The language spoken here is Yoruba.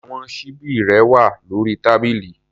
Àwọn ṣíbí rẹ wà lórí tábìlì.